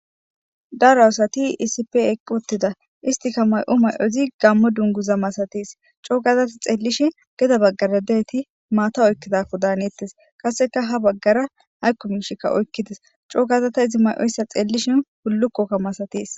daro asati iisip eqqu ottida istika may7o may7ozi gammo dunguza masatis coo gazati xeellishi geda baggara deeti maata oykkidako daanettes kaseka ha baggara haykumishikka oykkides coo gazata izi may7oyssa xeellishin hullukkokka masatiis